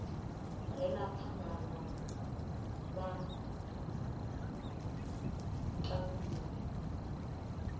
re na phambano vha tandulula